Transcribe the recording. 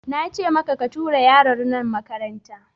Nace maka ka tura yaron nan makaranta!